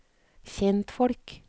kjentfolk